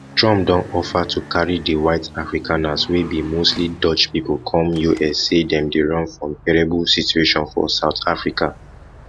trump don offer to carry di white afrikaners wey be mostly dutch pipo come us say dem dey run from terrible situation for south africa